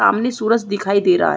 सामने सूरज दिखाई दे रहा है।